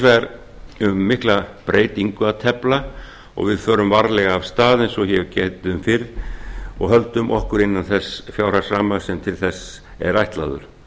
vegar um mikla breytingu að tefla kostnaðarsama breytingu og við förum varlega af stað og höldum okkur innan þess fjárhagsramma sem til þessa er ætlaður